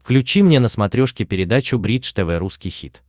включи мне на смотрешке передачу бридж тв русский хит